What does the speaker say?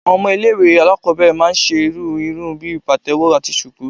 Àwọn ọmọ ilẹ̀ ìwé àlákobere máà ń ṣe irú ìrún bí patewo atí shuku